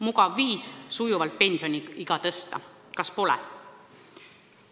Mugav viis sujuvalt pensioniiga tõsta, kas pole?